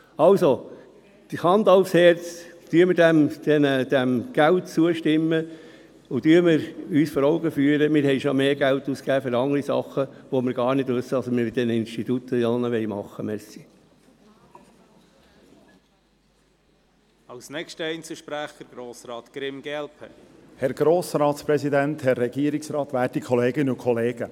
Also Hand aufs Herz, stimmen wir diesem Geld zu und führen wir uns vor Augen, dass wir schon mehr Geld ausgegeben haben für andere Dinge, wo wir gar nicht wissen, was wir mit all diesen Instituten machen wollen.